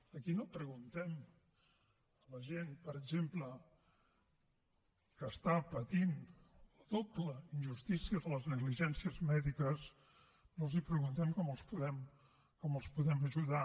aquí no preguntem a la gent per exemple que està patint la doble injustícia de les negligències mèdiques no els preguntem com els podem ajudar